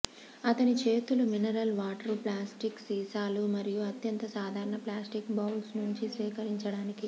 అతని చేతులు mineral water plastic సీసాలు మరియు అత్యంత సాధారణ ప్లాస్టిక్ బౌల్స్ నుండి సేకరించడానికి